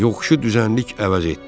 Yoxuşu düzənlik əvəz etdi.